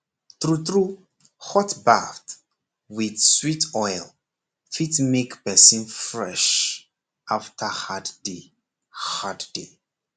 true true hot bath with sweet oil fit make person fresh after hard day hard day